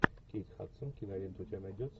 кейт хадсон кинолента у тебя найдется